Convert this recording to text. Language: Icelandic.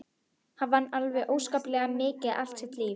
Hann vann alveg óskaplega mikið allt sitt líf.